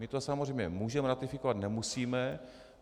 My to samozřejmě můžeme ratifikovat, nemusíme.